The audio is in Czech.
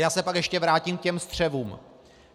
Já se pak ještě vrátím k těm střevům.